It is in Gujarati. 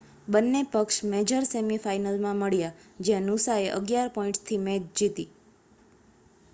બન્ને પક્ષ મેજર સેમી ફાઇનલ માં મળ્યા જ્યાં નુસાએ 11 પોઈન્ટ્સ થી મૅચ જીતી